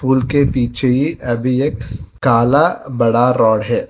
उनके पीछे ही अभी एक काला बड़ा रॉड है।